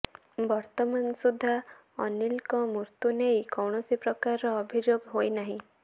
ବର୍ତ୍ତମାନ ସୁଦ୍ଧା ଅନିଲଙ୍କ ମୃତ୍ୟୁ ନେଇ କୌଣସି ପ୍ରକାରର ଅଭିଯୋଗ ହୋଇନାହିଁ